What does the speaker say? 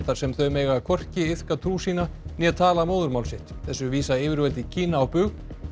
þar sem þau mega hvorki iðka trú sína né tala móðurmál sitt þessu vísa yfirvöld í Kína á bug